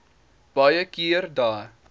baie keer dae